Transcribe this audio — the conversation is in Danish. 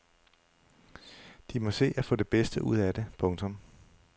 De må se at få det bedste ud af det. punktum